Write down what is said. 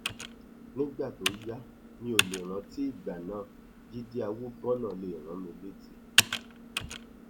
nígbà tó yá mi ò lè rántí ìgbà náà jíde àwòbọnà lè rán mi létí